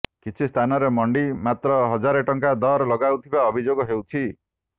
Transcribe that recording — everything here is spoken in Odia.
କିଛି ସ୍ଥାନରେ ମଣ୍ଡି ମାତ୍ର ହଜାରେ ଟଙ୍କା ଦର ଲଗାଉଥିବା ଅଭିଯୋଗ ହେଉଛି